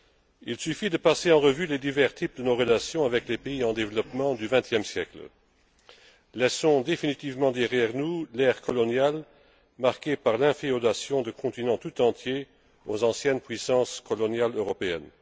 Il suffit de passer en revue les diverses formes qu'ont prises nos relations avec les pays en développement du vingtième siècle Laissons définitivement derrière nous l'ère coloniale, marquée par l'inféodation de continents tout entiers aux anciennes puissances coloniales européennes.